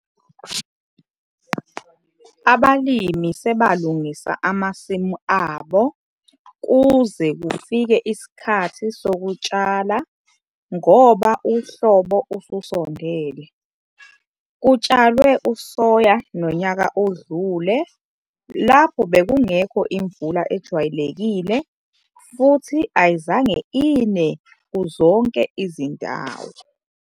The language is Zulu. Abalimi sebalungisa amasimu abo kuze kufike isikhathi sokutshala ngoba uhlobo ususondele. Kutshalwe usoya nonyaka oldule lapho bekungekho imvula ejwayelekile futhi ayizange ine kuzonke izindawo.